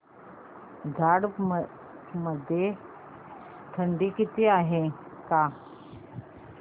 झारप मध्ये आज थंडी आहे का